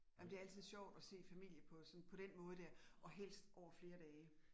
Jamen det altid sjovt at se familie på sådan på den måde dér, og helst over flere dage